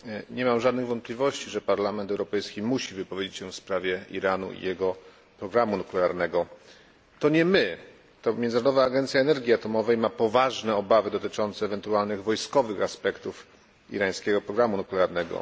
Nie mam żadnych wątpliwości, że Parlament Europejski musi wypowiedzieć się w sprawie Iranu i jego programu nuklearnego. To nie my, lecz Międzynarodowa Agencja Energii Atomowej ma poważne obawy dotyczące ewentualnych wojskowych aspektów irańskiego programu nuklearnego.